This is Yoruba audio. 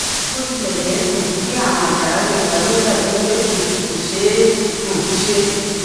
bó tilè jé um pé àrùn àjàrà lè wáyé ó dà bíi pé um kò ṣeé um ṣe